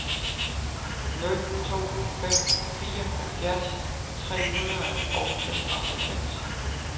nul to fem fire halvfjerds tre hundrede og femoghalvfems